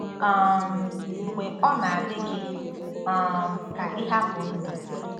um Mgbe Ọ Na-adị Gị um Ka Ịhapụ Ndụ